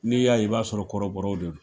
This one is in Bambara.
Ni y'a ye i b'a sɔrɔ kɔrɔbɔw de don